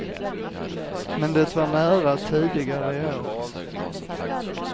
Men det var nära tidigare i år.